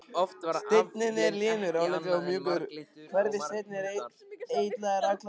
Steinninn er linur, álíka og mjúkur hverfisteinn en eitlarnir allharðir.